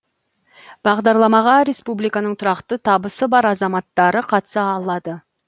бағдарламаға республиканың тұрақты табысы бар азаматтары қатыса алады